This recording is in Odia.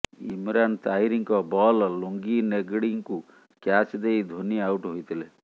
ଇମରାନ ତାହିରଙ୍କ ବଲ ଲୁଙ୍ଗି ନେଗଡ଼ିଙ୍କୁ କ୍ୟାଚ୍ ଦେଇ ଧୋନି ଆଉଟ ହୋଇଥିଲେ